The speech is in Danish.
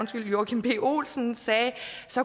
joachim b olsen sagde